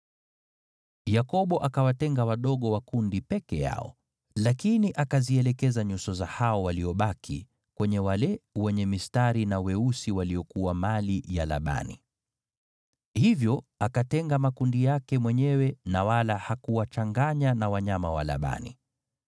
Yakobo akawatenga wadogo wa kundi peke yao, lakini akazielekeza nyuso za hao waliobaki kwenye wale wenye mistari na weusi waliokuwa mali ya Labani. Hivyo akatenga makundi yake mwenyewe, na wala hakuwachanganya na wanyama wa Labani.